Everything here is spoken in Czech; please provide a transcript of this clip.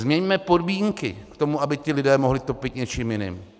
Změňme podmínky k tomu, aby ti lidé mohli topit něčím jiným.